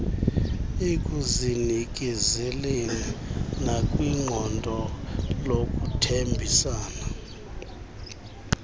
ekuzinikezeleni nakwiqondo lokuthembisa